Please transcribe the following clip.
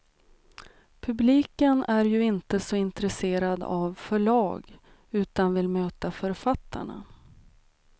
Publiken är ju inte så intresserad av förlag utan vill möta författarna.